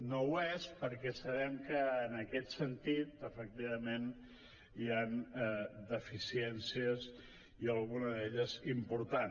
no ho és perquè sabem que en aquest sentit efectivament hi han deficiències i alguna d’elles important